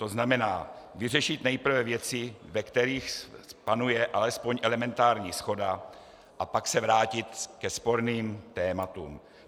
To znamená, vyřešit nejprve věci, ve kterých panuje alespoň elementární shoda, a pak se vrátit ke sporným tématům.